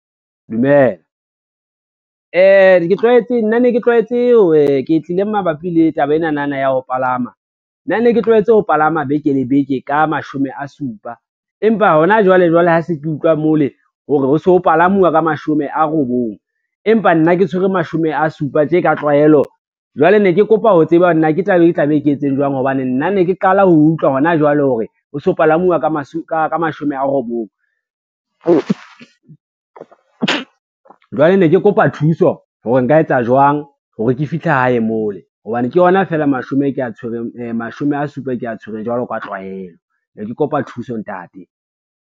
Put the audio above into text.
Dumela, ke tlile mabapi le taba enana ya ho palama, nna ne ke tlwaetse ho palama beke le beke ka mashome a supa, empa hona jwale jwale ha se ke utlwa mo le hore ho se ho palamuwa ka mashome a robong, empa nna ke tshwere mashome a supa tje ka tlwaelo. Jwale ne ke kopa ho tseba nna ke taba e ke tla be ke etse jwang hobane nna ne ke qala ho utlwa ho na jwale hore ho so palamuwa ka mashome a robong. Jwale ne ke kopa thuso hore nka etsa jwang hore ke fihle hae mo le, hobane ke yona fela mashome a supa e kea tshwereng jwalo ka tlwaelo ne ke kopa thuso ntate.